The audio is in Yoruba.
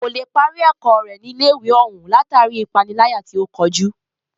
Kò lè parí ẹ̀kọ́ rẹ̀ ní ilé ìwé òún látàri ipániláyà tí o kojú.